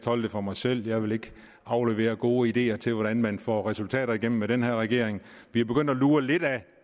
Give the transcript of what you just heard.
holde det for mig selv jeg vil ikke aflevere gode ideer til hvordan man får resultater igennem med den her regering vi er begyndt at lure lidt af